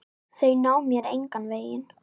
Þau ná mér engan veginn.